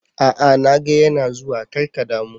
A'a na ga yana zuwa, kar ka damu.